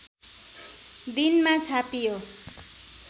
दिनमा छापियो